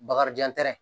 Bakarijan tɛrɛn